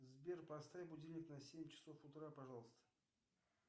сбер поставь будильник на семь часов утра пожалуйста